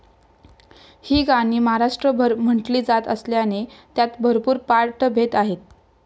ही गाणी महाराष्ट्रभर म्हटली जात असल्याने त्यात भरपूर पाठभेद आहेत.